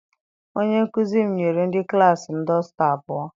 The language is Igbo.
Onye nkụzi m nyere ndị klassi m dọsta abụọ.